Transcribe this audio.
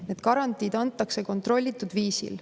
Need garantiid antakse kontrollitud viisil.